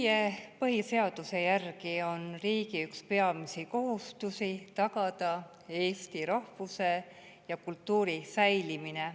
Meie põhiseaduse järgi on riigi üks peamisi kohustusi tagada eesti rahvuse ja kultuuri säilimine.